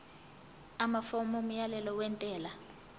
amafomu omyalelo wentela